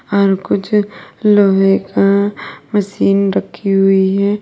और कुछ लोहे का मशीन रखी हुई है।